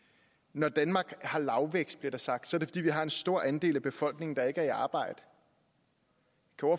når danmark har lavvækst bliver der sagt er det fordi vi har en stor andel af befolkningen der ikke er i arbejde